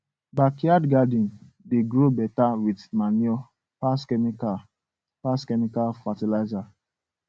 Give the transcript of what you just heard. backyard garden dey grow better with manure pass chemical pass chemical fertiliser